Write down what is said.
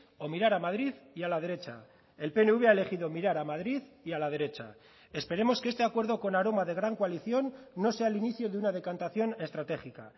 o mirar a madrid y a la derecha el pnv ha elegido mirar a madrid y a la derecha esperemos que este acuerdo con aroma de gran coalición no sea el inicio de una decantación estratégica